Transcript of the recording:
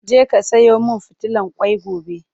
je ka Sayo min fitilan kwai gobe!